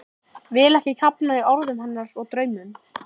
Vil ekki kafna í orðum hennar og draumum.